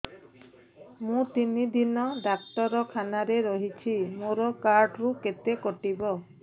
ମୁଁ ତିନି ଦିନ ଡାକ୍ତର ଖାନାରେ ରହିଛି ମୋର କାର୍ଡ ରୁ କେତେ କଟିବ